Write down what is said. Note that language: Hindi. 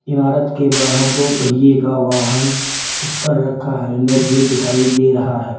इमारत के बाहर दो पहिए का वाहन उस पर रखा है हेलमेट भी दिखाई दे रहा है।